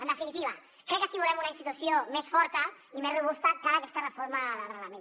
en definitiva crec que si volem una institució més forta i més robusta cal aquesta reforma del reglament